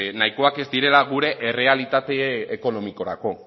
nahikoak ez direla gure errealitate ekonomikorako